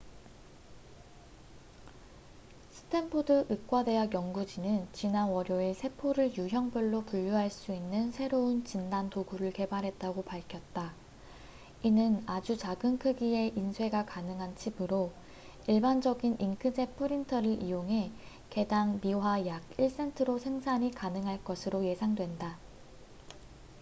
스탠포드 의과대학 연구진은 지난 월요일 세포를 유형별로 분류할 수 있는 새로운 진단도구를 개발했다고 밝혔다 이는 아주 작은 크기의 인쇄가 가능한 칩으로 일반적인 잉크젯 프린터를 이용해 개 당 미화 약 1센트로 생산이 가능할 것으로 예상된다